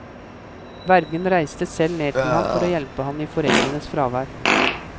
Vergen reiste selv ned til ham for å hjelpe ham i foreldrenes fravær.